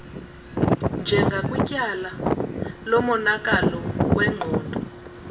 njengakwityala lomonakalo wengqondo